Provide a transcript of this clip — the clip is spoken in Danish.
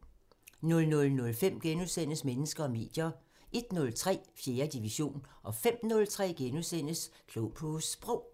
00:05: Mennesker og medier * 01:03: 4. division 05:03: Klog på Sprog *